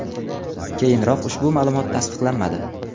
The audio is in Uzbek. Keyinroq ushbu ma’lumot tasdiqlanmadi.